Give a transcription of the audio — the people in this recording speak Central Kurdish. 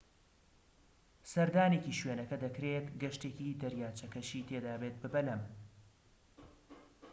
سەردانێکی شوێنەکە دەکرێت گەشتێکی دەریاچەکەشی تێدابێت بە بەلەم